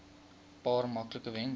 paar maklike wenke